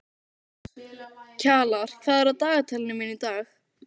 Kjalar, hvað er á dagatalinu mínu í dag?